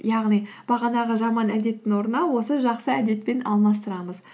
яғни бағанағы жаман әдеттің орнына осы жақсы әдетпен алмастырамыз